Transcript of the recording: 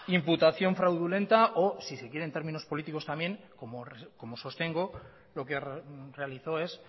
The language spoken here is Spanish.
imputación fraudulenta o si se quiere en términos políticos también como sostengo lo que realizó es